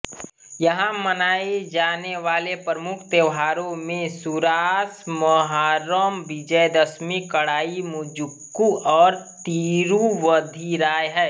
यहां मनाए जाने वाले प्रमुख त्यौहारों में सुरासमहारम विजयदशमी कड़ाईमुजुक्कू और तिरूवधिराय है